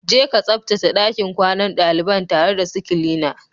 Je ka tsabtace ɗakin kwanan daliban tare da su kilina